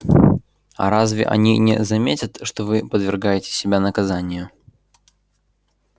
а разве они не заметят что вы подвергаете себя наказанию